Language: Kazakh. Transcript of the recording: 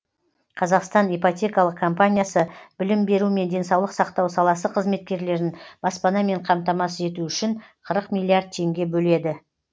қазақстан ипотекалық компаниясы білім беру мен денсаулық сақтау саласы қызметкерлерін баспанамен қамтамасыз ету үшін қырық миллиард теңге бөледі